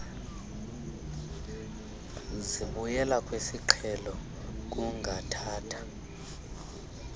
zibuyela kwisiqhelo kungathatha